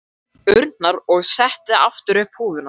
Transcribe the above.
urnar og setti aftur upp húfuna.